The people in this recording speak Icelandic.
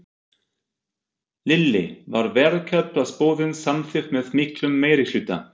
Lillý, var verkfallsboðun samþykkt með miklum meirihluta?